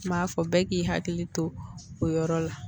M'a fɔ bɛɛ k'i hakili to o yɔrɔ la